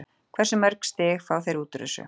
Hversu mörg stig fá þeir úr þessu?